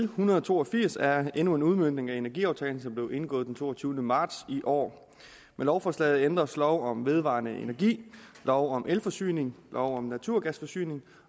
hundrede og to og firs er endnu en udmøntning af energiaftalen som blev indgået den toogtyvende marts i år med lovforslaget ændres lov om vedvarende energi lov om elforsyning lov om naturgasforsyning